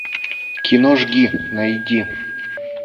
кино жги найди